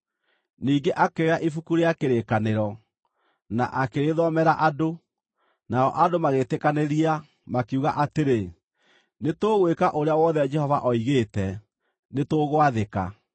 Ningĩ akĩoya Ibuku rĩa Kĩrĩkanĩro, na akĩrĩthomera andũ. Nao andũ magĩĩtĩkanĩria, makiuga atĩrĩ, “Nĩtũgwĩka ũrĩa wothe Jehova oigĩte; nĩtũgwathĩka.”